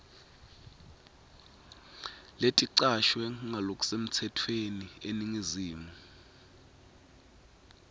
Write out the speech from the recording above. leticashwe ngalokusemtsetfweni eningizimu